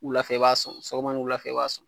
Wulafɛ i b'a sɔn sɔgɔma ni wulafɛ i b'a sɔn.